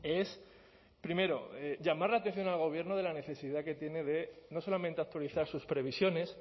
es primero llamar la atención al gobierno de la necesidad que tiene de no solamente actualizar sus previsiones